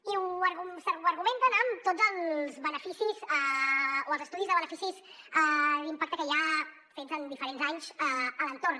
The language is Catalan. i s’argumenta amb tots els estudis de beneficis d’impacte que hi ha fets en diferents anys a l’entorn